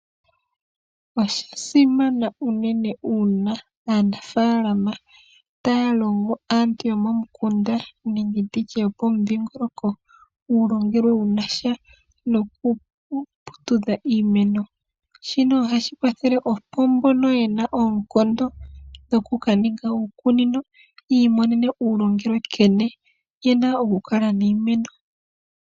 Osha simana unene aanafaalama taya longo aantu yomomukunda nenge nditye yopomudhingoloko uulongelwe wuna sha nokuputudha iimeno. Shino ohashi kwathele opo mbono yena oonkondo dhoku kaninga uukunino yi imonene uulongelwe nkene yena okukala niimeno.